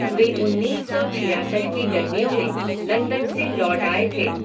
वे उन्नीस सौ छियासठ की गर्मियों में लंदन से लौट आए थे।